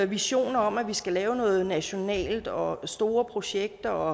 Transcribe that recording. visioner om at vi skal lave noget nationalt om store projekter